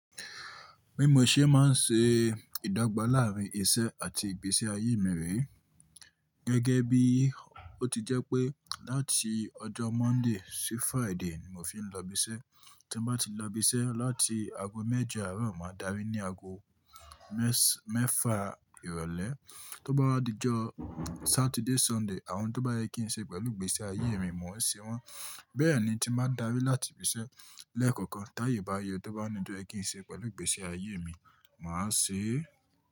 Bí mo ṣe máa ń ṣe ìdọ́gba láàárín iṣẹ́ àti ìgbésí ayé mi rè é. Gẹ́gẹ́ bí ó ti jẹ́ pé láti ọjọ́ Monday sí Friday ni mo fi ń lọ ibi iṣẹ́. Tí mo bá ti lọ ibi iṣẹ́ láti ago méje, àárọ̀ máa dárí ní ago mẹ́fa ìrọ̀lẹ́. Tó bá di'jọ́ Sátidé, Sunday, àwọn oun tó bá yẹ kí n ṣe pẹ̀lú ìgbésí ayé mi, mò ń se wọ́n. Bẹ́ẹ̀ ni tí mbá dárí láti ibi iṣẹ́ lẹ́ẹ̀kọ̀kan t'áyè bá yọ tó bá ní oun tó yẹ kí n ṣe pẹ̀lú ìgbésí ayé mi, màá ṣe é.